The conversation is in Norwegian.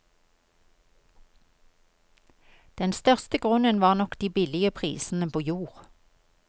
Den største grunnen var nok de billige prisene på jord.